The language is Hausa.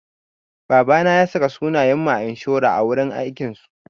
Babana ya saka sunayen mu a inshora a wurin aikin su.